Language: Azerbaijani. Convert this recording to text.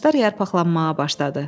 Ağaclar yarpaqlanmağa başladı.